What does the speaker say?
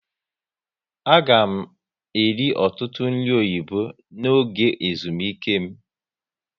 A ga m eri ọtụtụ nri oyibo n'oge ezumike m